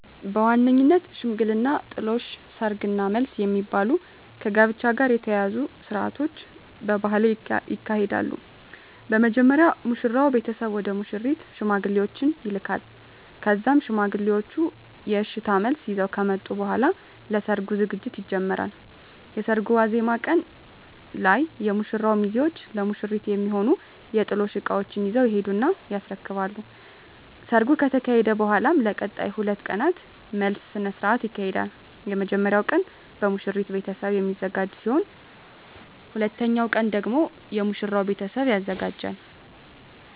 በዋነኝነት ሽምግልና፣ ጥሎሽ፣ ሰርግ እና መልስ የሚባሉ ከጋብቻ ጋር የተያያዙ ስርአቶች በባህሌ ይካሄዳሉ። በመጀመሪያ የሙሽራው ቤተሰብ ወደ ሙሽሪት ሽማግሌዎችን ይልካል ከዛም ሽማግሌዎቹ የእሽታ መልስ ይዘው ከመጡ በኃላ ለሰርጉ ዝግጅት ይጀመራል። የሰርጉ ዋዜማ ቀን ላይ የሙሽራው ሚዜዎች ለሙሽሪት የሚሆኑ የጥሎሽ እቃዎችን ይዘው ይሄዱና ያስረክባሉ። ከሰርጉ ከተካሄደ በኃላም ለቀጣይ 2 ቀናት መልስ ስነ ስርዓት ይካሄዳል። የመጀመሪያው ቀን በሙሽሪት ቤተሰብ የሚዘጋጅ ሲሆን ሁለተኛው ቀን ደግሞ የሙሽራው ቤተሰብ ያዘጋጃል።